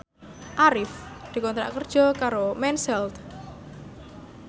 Arif dikontrak kerja karo Mens Health